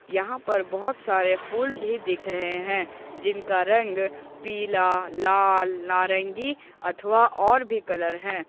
यहां पर बहोत सारे फूल भी दिख रहे हैं जिनका रंग पीला लाल नारंगी अथवा और भी कलर है।